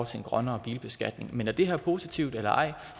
til en grønnere bilbeskatning men om det her er positivt eller ej